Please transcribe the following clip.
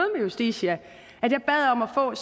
justitia at jeg bad om at få